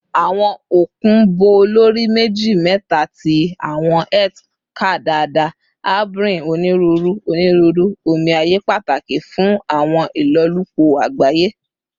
Awọn okun bo lori meji-meta ti awọn Earth ká dada, harboring Oniruuru oniruuru omi aye pataki fun awọn ilolupo agbaye